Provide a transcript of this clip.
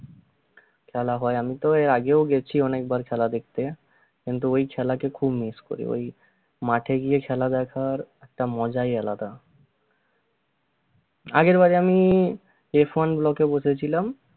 খেলাহয় আমি তো এর আগেও গেছি অনেকবার খেলা দেখতে কিন্তু ওই খেলাকে খুব miss করি ওই মাঠে গিয়ে খেলা দেখার একটা মজাই আলাদা আগেরবারে আমি যে ফন row তে বসেছিলাম